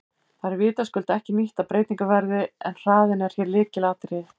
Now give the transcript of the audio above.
Það er vitaskuld ekki nýtt að breytingar verði en hraðinn er hér lykilatriði.